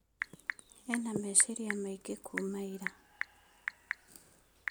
Ena meeciria maingĩ kuuma ira